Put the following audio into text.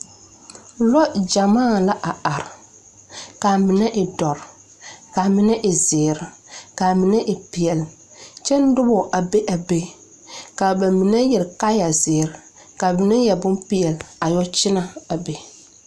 Lɛ gyamaa la a are kaa mine e dɔre kaa mine e zeere kaa mine e peɛle kyɛ nobɔ a be a be kaa ba mine yɛre kaayɛ zeere kaa mine yɛre bonpeɛle a yɔ kyinɛ a be.